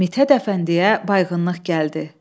Mithət Əfəndiyə bayğınlıq gəldi.